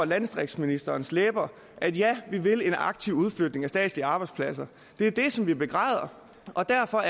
landdistriktsministerens læber at ja man vil en aktiv udflytning af statslige arbejdspladser det er det som vi begræder og derfor